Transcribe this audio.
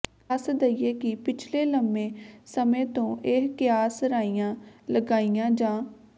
ਦਸ ਦਈਏ ਕਿ ਪਿਛਲੇ ਲੰਬੇ ਸਮੇਂ ਤੋਂ ਇਹ ਕਿਆਸ ਰਾਈਆਂ ਲਗਾਈਆਂ ਜਾ